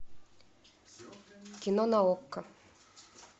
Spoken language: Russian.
кино на окко